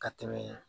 Ka tɛmɛ